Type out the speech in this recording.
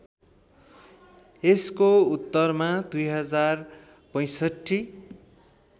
यसको उत्तरमा २०६५